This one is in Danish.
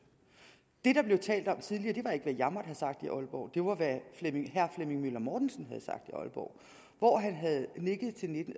det der blev talt om tidligere var ikke hvad jeg måtte have sagt i aalborg det var hvad herre flemming møller mortensen havde sagt i aalborg hvor han havde nikket til